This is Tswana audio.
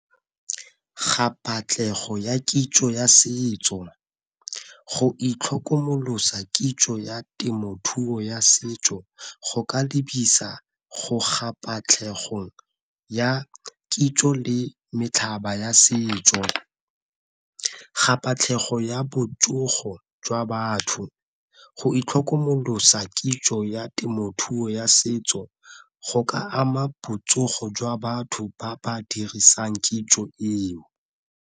ya kitso ya setso, go itlhokomolosa kitso ya temothuo ya setso go ka lebisa go ya kitso le ya setso. ya botsogo jwa batho, go itlhokomolosa kitso ya temothuo ya setso go ka ama botsogo jwa batho ba ba dirisang kitso eo.